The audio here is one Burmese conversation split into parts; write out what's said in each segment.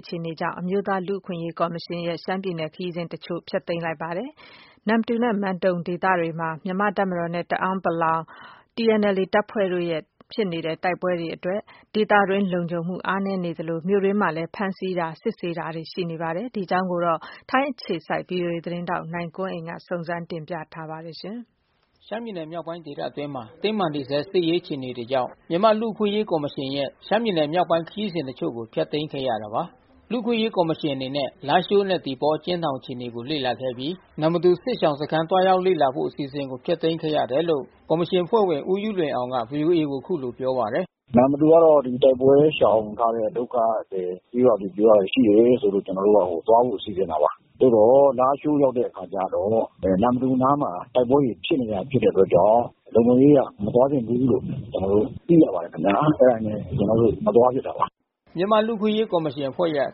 အခြေအနေတွေကြောင့် အမျိုးသားလူ့အခွင့်ကော်မရှင် အဖွဲ့ကနေ ရှမ်းပြည်နယ်ခရီးစဉ်တချို့ကိုဖျက်သိမ်းခဲ့ရတယ်လို့ တာဝန်ရှိသူတွေကပြောပါတယ်။ နမ္မတူနဲ့မန်တုံဒေသဘက်မှာ မြန်မာ့တပ်မတော်နဲ့တအာင်းပလောင်TNLAတပ်ဖွဲ့တို့ တိုက်ပွဲဖြစ်ပွါးနေမှုကြောင့် ဒေသတွင်းလုံခြုံမှုအားနဲနေသလို မြို့အတွင်း ဖမ်းဆီးစစ်ဆေးမှုတွေလဲရှိနေဆဲအခြေအနေမှာရှိနေပါတယ်။ ဗွီအိုအေထိုင်းအခြေစိုက်နိုင်ကွန်းအိန်ကနေသတင်းပေးပို့ထားပါတယ်။ ရှမ်းပြည်နယ်မြောက်ပိုင်းဒေသအတွင်းမှာ တင်းမာနေဆဲစစ်ရေးအခြေအနေတွေကြောင့် မြန်မာ့လူ့အခွင့်အရေးကော်မရှင်ရဲ့ ရှမ်း ပြည်နယ်မြောက်ပိုင်းခရီးစဉ်တချို့ကိုဖျက်သိမ်းခဲ့ရတာပါ။ လူ့အခွင့်အရေးကော်မရှင်အနေနဲ့ လားရှိုးနဲ့သီပေါအကျဉ်းထောင်အခြေအနေကိုလေ့လာခဲ့အပြီး နမ္မတူစစ်ရှောင်စခမ်းသွား ရောက်လေ့လာဖို့အစီအစဉ်ကိုဖျက်သိမ်းခဲ့တယ်လို့ ကော်မရှင်အဖွဲ့ဝင် ဦးယုလွင်အောင်ကVOAကိုအခုလိုပြောပါတယ်။ နမ္မတူကတော့ ဒီတိုက်ပွဲရှောင်ထားတဲ့ ဒုက္ခသည်ကျေးရွာတွေရှိတယ်လို့ကျွန်တော်တို့သွားဖို့စီစဉ်တာပါ။ သို့သော်လားရှိုး ရောက်တဲ့အခါကျတော့ နမ္မတူနားမှာတိုက်ပွဲတွေဖြစ်နေတဲ့အတွက်ကြောင့် လုံခြုံရေးအရမသွားသင့်ဘူးလို့ ကျွန်တော်တို့ သိရပါတယ်ခင်ဗျာ့။ အဲတာနဲ့ကျွန်တော်တို့မသွားဖြစ်တာပါ။ မြန်မာ့လူ့အခွင့်အရေးကော်မရှင်အဖွဲ့ရဲ့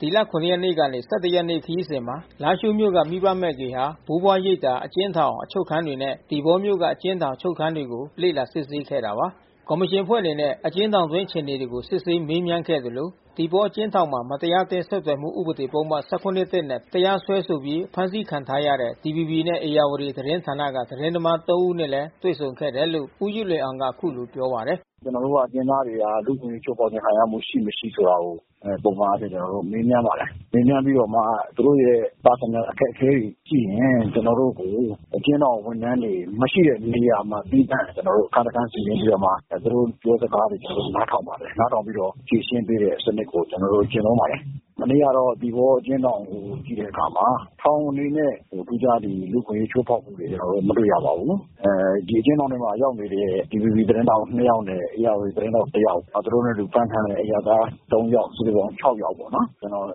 ဒီလ ရက်နေ့ကနေ ရက်နေ့ ခရီးစဉ်မှာ လားရှိုးမြို့က မိဘမဲ့ဂေဟာ၊ ဘိုးဘွား ရိပ်သာ၊ အကျဉ်းထောင် ၊အချုပ်ခန်းတွေနဲ့ သီပေါမြို့က အကျဉ်းထောင်၊ အချုပ်ခန်းတွေလေ့လာစစ်ဆေးခဲ့တာပါ။ ကော်မရှင်အဖွဲ့အနေနဲ့အကျဉ်းထောင်အတွင်းအခြေအနေကိုစစ်ဆေးမေးမြန်းခဲ့သလို သီပေါအကျဉ်းထောင်မှာ မတရားအသင်း ဆက်သွယ်မှုဥပဒေပုဒ်မ၁၇ နဲ့ တရားစွဲဆိုပြီး ဖမ်းဆီးခံထားရတဲ့ DVBနဲ့ဧရာဝတီသတင်းဌာနကသတင်းသမား ဦးနဲ့လည်း တွေ့ဆုံခဲ့တယ်လို့ဦးယုလွင်အောင်ကအခုလိုပြောပါတယ်။ ကျွန်တောို့ကတော့ အကျဉ်းသားတွေဟာ လူ့အခွင့်အရေးချိုးဖေါက်မှုခံရမှုရှိမရှိ ဆိုတာကို ပုံမှန်အားဖြင့် ကျွန်တော်တို့ မေးမြန်းပါတယ်။ မေးမြန်းပြီးတော့မှာ သူတို့ရဲ့ပုဂ္ဂိုလ်ရေးအခက်ခဲတွေရှိရင်ကျွန်တော်တို့ကို အကျဉ်းထောင်ဝန်ထမ်းတွေမရှိတဲ့ နေရာမှာ သီးသန့်ကျွန်တော်တို့အခန်းတခန်းနေရာမှာ သူတို့ပြောစကား ကျွန်တော်တို့နားထောင်ပါတယ်။ နားထောင်ပြီးတော့ ဖြေရှင်းပေးတဲ့စံနစ်ကိုကျွန်တော်တို့ကျင့်သုံးပါတယ်။ မနေ့ကတော့ သီပေါအကျဉ်းထောင်ကိုကြည့်တဲ့အခါမှာ ထောင်အနေနဲ့ ထူးခြားလူ့အခွင့်အရေးချိုးဖေါက်မှုတွေမတွေ့ရပါဘူး။ ဒီအကျဉ်းထောင်ထဲရောက်နေတဲ့ DVBသတင်းထောက်နှစ်ယောက်နဲ့ ဧရာဝတီသတင်းထောက်တယောက် နောက်သူတို့နဲ့အတူတူဖမ်းထားတဲ့ အရပ်သားသုံးယောက်စုစုပေါင်း ယောက်ပေါ့နော်။ ကျွန်တော်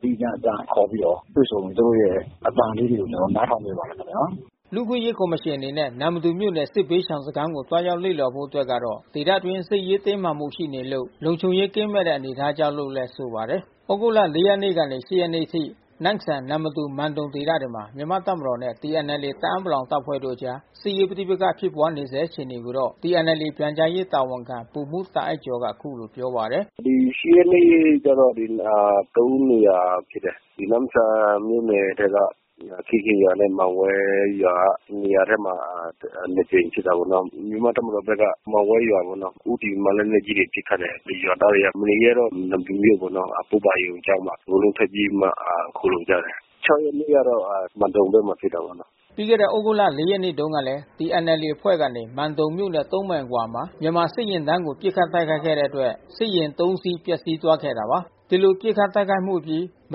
သီးသန့်ခေါ်ပြီးတော့တွေ့ဆုံ သူတို့ရဲ့အသံလေးတွေကိုကျွန်တော်တို့နားထောင်ပေးပါတယ်ခင်ဗျာ။ လူ့အခွင့်အရေးကော်မရှင်အနေနဲ့နမ္မတူမြို့နယ်ကစစ်ဘေးရှောင်စခမ်းကိုသွားရောက်လေ့လာဖို့အတွက်က ဒေသတွင်းစစ်ရေး တင်းမာမှုရှိနေလို့လုံခြုံရေးကင်းမဲ့နေတဲ့အနေအထားကြောင့်လို့သူကဆိုပါတယ်။ သြဂုတ်လ ရက်နေ့ကနေ ရက်နေ့အထိ နမ့်ဆန် နမ္မတူ မန်တုံဒေသဘက်မှာ မြန်မာ့တပ်မတော်နဲ့ TNLAတအာင်း ပလောင် တပ်ဖွဲ့တို့အကြား စစ်ရေးပဋိပက္ခဖြစ်ပွါးနေဆဲအခြေအနေကိုတော့TNLAပြန်ကြားရေးတာဝန်ခံဗိုလ်မှူးတာ့အိုက်ကျော်က အခုလို ပြောပါတယ်။ ဒီ ရက်နေ့ကျတော့ နေရာဖြစ်တယ်။ ဒီနမ့်ဆန်မြို့နယ်ထဲက ခေးခင်းရွာနဲ့မန်ဝဲရွာနေရာထဲမှာနှစ်ကြိမ်ဖြစ်တာပေါ့နော်။ မြန်မာ့တပ်မတော်က မန်ဝဲရွာကိုဦးတည်ပြီးမှ လက်နက်ကြီးတွေနဲ့ပစ်ခတ်တယ်။ ရွာသားတွေကမနေရဲတော့ နမ္မတူမြို့ပေါ် ပုဗ္ဗါရုံကျောင်းမှာအကုန်လုံးထွက်ပြေးပြီးမှခိုလှုံကြတယ်။ ရက်နေ့ကျတော့မန်တုံဘက်မှာဖြစ်တာပေါ့နော်။ ပြီးခဲ့တဲ့သြဂုတ် ရက်နေ့တုန်းက TNLAအဖွဲ့ကနေ မန်တုံမြို့နဲ့ မိုင်အကွာနေရာမှာ မြန်မာ့စစ်ယာဉ်တန်းကို ပစ်ခတ်တိုက် ခိုက်ခဲ့တဲ့အတွက်စစ်ယာဉ် စီးပျက်စီးသွားခဲ့တာပါ။ ဒီလိုပစ်ခတ်တိုက်ခိုက်မှုအပြီး မ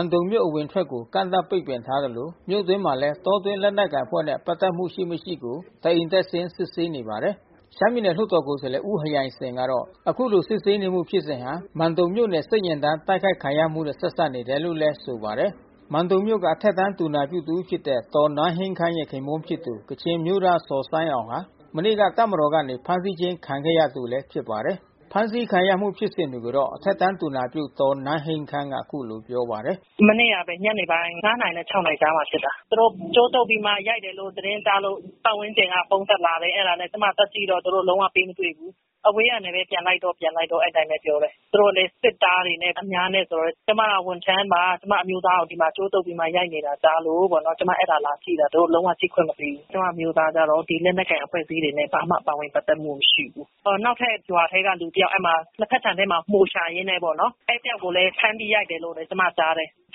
န်တုံမြို့အဝင်အထွက်ကို ကန့်သတ်ပိတ်ပင်ထားသလို မြို့တွင်းမှာလဲ တောတွင်းလက်နက် ကိုင်အဖွဲ့နဲ့ပက်သက်မှုရှိမရှိကိုတအိမ်တက်ဆင်းစစ်ဆေးနေပါတယ်။ ရှမ်းပြည်နယ်လွှတ်တော်ကိုယ်စားလှယ်ဦးဟယိုင်စင်ကတော့ အခုလိုစစ်ဆေးနေမှုဖြစ်စဉ်ဟာ မန်တုံမြို့နယ်စစ်ယာဉ်တန်း တိုက် ခိုက်ခံရမှုနဲ့ဆက်စပ်နေတယ်လို့ဆိုပါတယ်။ မန်တုံမြို့က အထက်တန်းသူနာပြုတဦးဖြစ်တဲ့ ဒေါ်နန်းဟိန်းခမ်းရဲ့ခင်ပွန်းဖြစ်သူ ကချင်အမျိုးသားဇော်ဆိုင်းအောင်ဟာ မနေ့က တပ်မတော်ကနေဖမ်းဆီးခြင်းခံတဲ့သူတဦးလဲဖြစ်ပါတယ်။ ဖမ်းဆီးခံရမှုဖြစ်စဉ်တွေကိုတော့အထက်တန်းသူနာပြုဒေါ်နန်းဟိန်းခမ်းကနေအခုလိုပြောပါတယ်။ မနေ့ကဘဲ ၅နာရီနဲ့၆နာရီကြားမှာဖြစ်တာ။ သူတို့ကြိုးတုတ်ပြီးမှရိုက်တယ်လို့ သတင်းကြားလို့ပတ်ဝန်းကျင်ကဖုန်းဆက်လာတယ်။ အဲတာကျွန်မသွားကြည့်တော့သူတို့လုံးဝပေးမတွေ့ဘူး။ အဝေးကနေဘဲပြန်လိုက်တော့ပြန်လိုက်တော့ပြောတယ်။ သူတို့လဲ စစ်သားတွေနဲ့ အများနဲ့ဆိုတော့ ကျွန်မကဝန်ထမ်းပါ။ ကျွန်မအမျိုးသားကိုကြိုးတုတ်ပြီးရိုက်နေတာကြားလို့ပေါ့ ကျွန်မ အဲတာလာကြည့်တာ။ သူတို့လုံးဝကြည့်ခွင့်မပေးဘူး။ ကျွန်မအမျိုးသားကတော့ ဒီလက်နက်ကိုင်အဖွဲ့အစည်းတွေနဲ့ လုံး၀ ပါဝင်ပက်သက်မှုမရှိဘူး။ နောက်ထပ်ရွာထဲကလူတယောက် လက်ဖက်ခြံထဲမှာ မှိုရှာရင်းနဲ့ပေါ့နော် အဲဒီတယောက်ကိုလဲ ဖမ်းပြီးရိုက်တယ်လို့ကျွန်မကြားတယ်။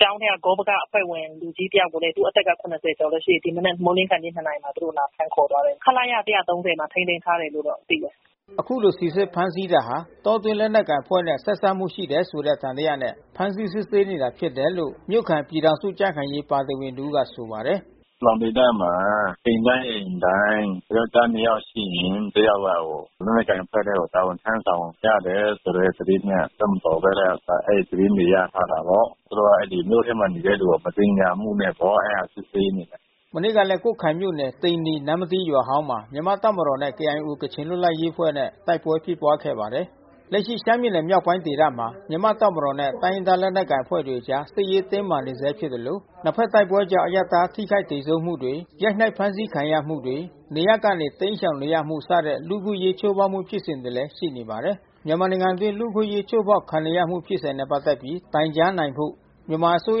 ကျောင်းထဲကလူကြီးဂေါပကအဖွဲ့ဝင်တယောက်ကိုလဲ သု့အသက် လောက်ရှိတယ်။ ဒီမနက်မိုးမလင်းနှစ်နာရီမှာ သူတို့လာဖမ်းသွားတယ်။ ခလရ မှာထိန်းသိမ်းထားတယ်လို့တော့သိတယ်။ အခုလိုစီစစ်ဖမ်းဆီးတာဟာ တောတွင်းလက်နက်ကိုင်အဖွဲ့နဲ့ ဆက်စပ်မှုရှိတယ်ဆိုတဲ့သံသယနဲ့ ဖမ်းဆီးစစ်ဆေးနေတာဖြစ် တယ်လို့ မြို့ခံပြည်ထောင်စုကြံ့ခိုင်ရေးပါတီဝင်တဦးကဆိုပါတယ်။ ပလောင်ဒေသမှာအိမ်တိုင်းအိမ်တိုင်း ယောကျ်ားနှစ်ယောက်ရှိရင် တယောက်က လက်နက်ကိုင်အဖွဲ့ထဲကို တာဝန်ထမ်းဆောင်ကြ တယ်ဆိုတဲ့သတင်းနဲ့ တပ်မတော်ဘက်က အဲဒီသတင်းတွေရထားတာပေါ့။ သူတို့ကမြို့ထဲမှာနေတဲ့သူတွေကိုမသင်္ကာမှုနဲ့ပေါ့အဲ တာစစ်ဆေးနေတာ။ မနေ့ကလဲ ကွတ်ခိုင်မြို့နယ် သိန္နီ နမ္မတီရွာဟောင်းမှာ မြန်မာ့တပ်မတော်နဲ့ KIOကချင်လွတ်လပ်ရေးအဖွဲ့နဲ့တိုက်ပွဲဖြစ်ပွါးခဲ့ပါ တယ်။ လက်ရှိရှမ်းပြည်နယ်မြောက်ပိုင်းဒေသမှာမြန်မာ့တပ်မတော်နဲ့တိုင်းရင်းသားလက်နက်ကိုင်အဖွဲ့တွေအကြား စစ်ရေးတင်းမာနေဆဲ ဖြစ်သလို နှစ်ဖက်တိုက်ပွဲကြောင့် အရပ်သားထိခိုက်သေဆုံးမှုတွေ ရိုက်နှက်ဖမ်းဆီးခံရမှုတွေ နေရပ်ကနေ တိမ်းရှောင်နေ ရမှုစတဲ့လူ့အခွင့်အရေးချိုးဖေါက်မှုဖြစ်စဉ်တွေလဲရှိနေပါတယ်။ မြန်မာနိုင်ငံအတွင်းလူ့အခွင့်အရေးချိုးဖေါက်ခံနေရမှုဖြစ်စဉ်နဲ့ပက်သက်ပြီးတိုင်ကြားနိုင်ဖို့ မြန်မာအစိုး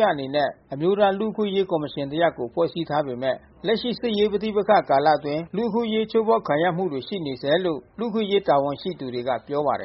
ရအနေနဲ့ အမျိုးသားလူ့ အခွင့်အရေးကော်မရှင်တရပ်ကိုဖွဲ့စည်းထားပေမဲ့ လက်ရှိစစ်ရေးပဋိပက္ခကာလအတွင်း လူ့အခွင့်အရေးချိုးဖေါက်ခံ ရမှုတွေရှိနေ ဆဲလို့ လူ့အခွင့်အရေးတာဝန်ရှိသူတွေကပြောပါတယ်။